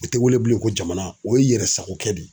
O te wele bilen ko jamana, o ye yɛrɛ sako kɛ de ye.